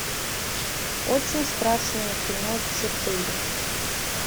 очень страшное кино четыре